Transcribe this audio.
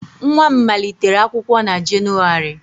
Nwa m malitere akwụkwọ na Jenụwarị